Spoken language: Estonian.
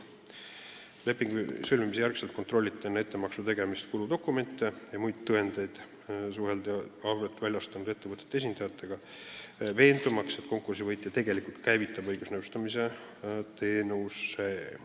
Pärast lepingu sõlmimist kontrolliti enne ettemaksu tegemist kuludokumente ja muid tõendeid, suheldi arveid väljastanud ettevõtete esindajatega, veendumaks, et konkursi võitja ka tegelikult käivitab õigusnõustamise teenuse.